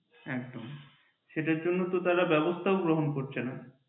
একদম সেটার জন্য তো তারা ব্যাবস্থাও গ্রহণ করছে না।